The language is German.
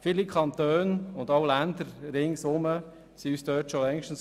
Viele Kantone und auch Länder um uns herum sind uns dort schon längst voraus.